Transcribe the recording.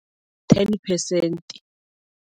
Ten percent.